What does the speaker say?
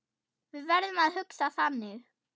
Við verðum að hugsa þannig.